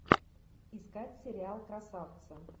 искать сериал красавцы